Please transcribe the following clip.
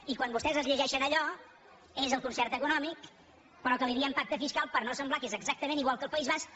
i quan vostès es llegeixen allò és el concert econòmic però que li diem pacte fiscal per no semblar que és exactament igual que el país basc